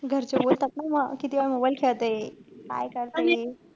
घरचे बोलतात ना मग कितीवेळा mobile खेळते? काय करतेय?